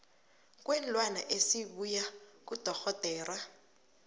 kweenlwana esibuya kudorhodera